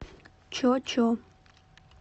чо чо